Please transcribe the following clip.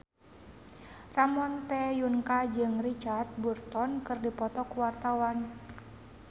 Ramon T. Yungka jeung Richard Burton keur dipoto ku wartawan